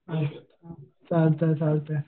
अच्छा चालतंय चालतंय.